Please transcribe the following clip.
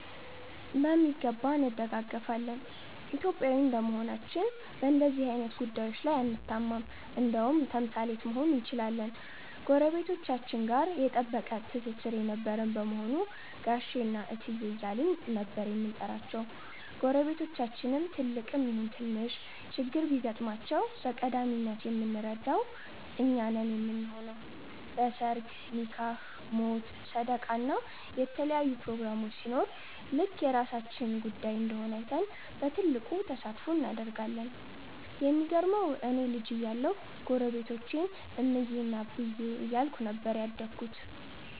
በሚገባ እንደጋገፋለን። ኢትዮጵያዊ እንደመሆናችን በንደዚህ አይነት ጉዳዬች ላይ አንታማም እንደውም ተምሳሌት መሆን እንችላለን። ጎረቤቶቻችን ጋ የጠበቀ ትስስር የነበረን በመሆኑ ጋሼ እና እትዬ እያልን ነበር የምንጠራቸው። ጎረቤቶቻችን ትልቅም ይሁን ትንሽ ችግር ቢገጥማቸው በቀዳሚነት የምንረዳው እኛ ነን ምንሆነው። በ ሰርግ፣ ኒካህ፣ ሞት፣ ሰደቃ እና የተለያዩ ፕሮግራሞች ሲኖር ልክ የራሳችን ጉዳይ እንደሆነ አይተን በትልቁ ተሳትፎ እናደርጋለን። የሚገርመው እኔ ልጅ እያለሁ ጎረቤቶቼን እምዬ እና አብዬ እያልኩኝ ነበር ያደግኩት።